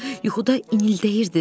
Yuxuda inildəyirdiz.